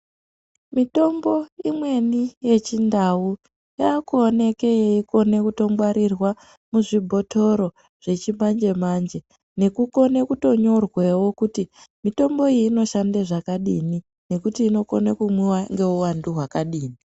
Mitombo imweni yechindau yakuoneke yeikone kutongwarirwa muzvibhotoro zvechimanje manje nekukone kutonyorwewo kuti mitombo iyi inoshande zvakadini ngekuti inokone kunwiwa ngeuvandu hwakadini .